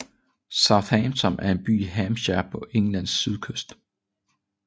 Southampton er en by i Hampshire på Englands sydkyst